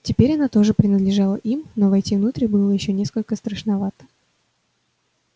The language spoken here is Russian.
теперь она тоже принадлежала им но войти внутрь было ещё несколько страшновато